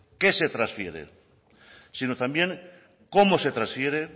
qué se transfiere sino también cómo se transfiere